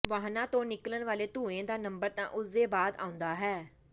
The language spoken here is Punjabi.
ਵਾਹਨਾਂ ਤੋਂ ਨਿਕਲਣ ਵਾਲੇ ਧੂਏ ਦਾ ਨੰਬਰ ਤਾਂ ਉਸ ਦੇ ਬਾਅਦ ਆਉਂਦਾ ਹੈ